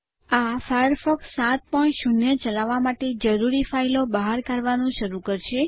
આ ફાયરફોક્સ 70 ચલાવવા માટે જરૂરી ફાઈલો બહાર કાઢવાનું શરૂ કરશે